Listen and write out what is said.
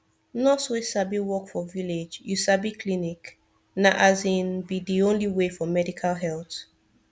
nurse wey sabi work for village you sabi clinic na asin be de only way for medical help